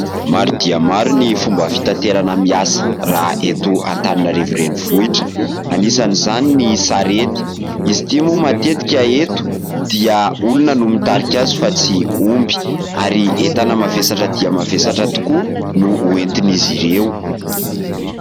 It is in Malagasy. Maro dia maro ny fomba fitaterana miasa raha eto Antananarivo renivohitra. Hanisan' izany ny sarety, izy ity moa matetika eto dia olona no mitarika azy fa tsy omby, ary entana mavesatra dia mavesatra tokoa no hoentin'izy ireo.